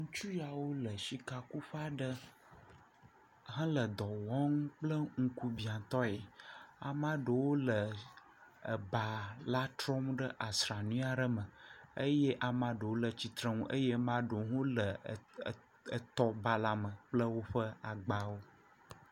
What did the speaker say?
Ŋutsu yawo le shikakuƒe aɖe hele dɔ wɔm kple ŋkubiãtɔe. Ama ɖewo le ebala trɔm ɖe asrami aɖe me. Eye ama ɖewo le tsitrenu. Eye ama ɖewo hã wole e, e, etɔbala me kple woƒe agbawo.